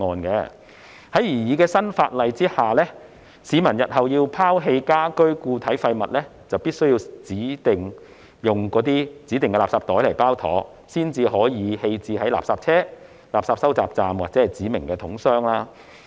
在擬議新法例下，市民日後要拋棄家居固體廢物，就必須使用指定的垃圾袋包妥，才能夠棄置在垃圾車、垃圾收集站或指明桶箱。